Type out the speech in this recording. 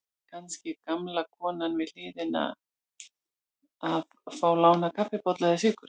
Kannski gamla konan við hliðina að fá lánaðan kaffibolla eða sykur.